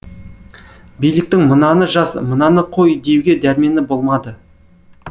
биліктің мынаны жаз мынаны қой деуге дәрмені болмады